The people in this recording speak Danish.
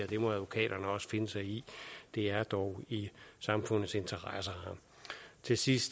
det må advokaterne også finde sig i det er dog i samfundets interesse til sidst